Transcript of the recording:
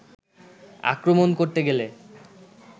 আক্রমণ করতে গেলে